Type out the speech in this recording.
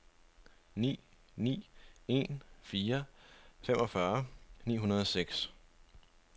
ni ni en fire femogfyrre ni hundrede og seks